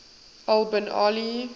al bin ali